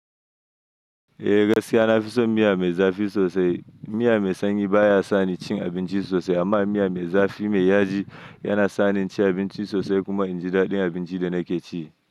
Eh, gaskiya na fi son miya me zafi sosai. Miya mai sanyi baya sa ni cin abinci sosai amma miya me zafi mai yaji yana sa ni ci abinci sosai kuma in ji daɗin abinci da nake ci.